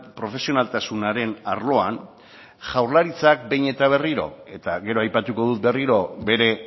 profesionaltasunaren arloan jaurlaritzak behin eta berriro eta gero aipatuko dut berriro bere